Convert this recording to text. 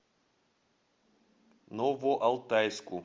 новоалтайску